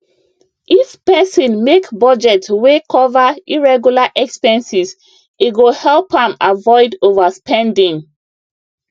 if person make budget wey cover irregular expenses e go help am avoid overspending